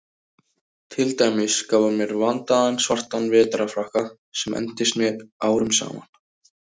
Til dæmis gaf hann mér vandaðan svartan vetrarfrakka sem entist mér árum saman.